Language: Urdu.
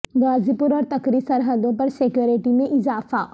غازی پور اور تکری سرحدوں پر سکیورٹی میں اضافہ